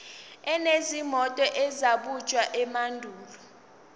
enezinto ezabunjwa emandulo